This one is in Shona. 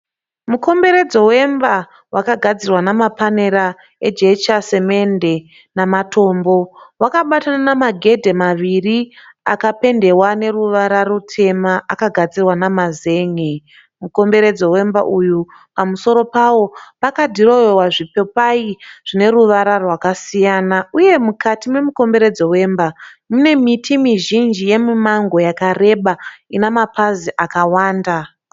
Mukomberedzo wemba wakagadzirwa namapanera ejecha, semende namatombo. Wakabata namagedhi maviri akapendewa neruvara rutema akagadzirwa nemazen'e. Mukomberedzo wemba uyu pamusoro pawo pakadhirowewa zvipopai zvine ruvara rwakasiyana uye mukati momukombereredzo wemba mune miti mizhinji yemimango yakareba ina mapazi akawanda.